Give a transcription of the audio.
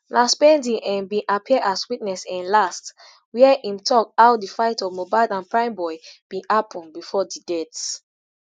na spending um bin appear as witness um last wia im tok how di fight of mohbad and primeboy bin happun bifor di death